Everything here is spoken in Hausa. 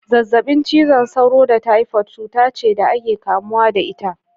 Zazzabin cizon sauro da typhoid cuta ce da ake kamuwa da ita.